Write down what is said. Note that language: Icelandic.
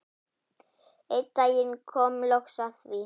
Einn daginn kom loks að því.